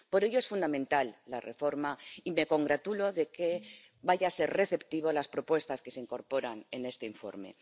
Por ello, es fundamental la reforma y me congratulo de que vaya a ser receptivo a las propuestas que se incorporan en este informe.